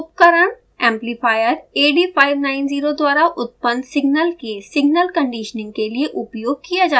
उपकरण amplifier ad590 द्वारा उत्पन्न सिग्नल के signal conditioning के लिए उपयोग किया जाता है